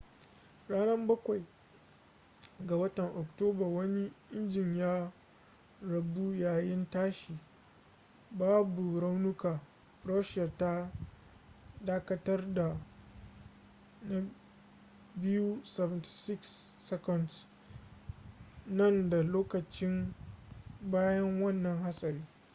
ranan bakwai 7 ga watan oktoba wani injin ya rabu yayin tashi babu raunuka. russia ta dakatar da ii-76s na dan lokaci bayan wannan hatsari